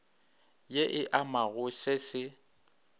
ye e amago se se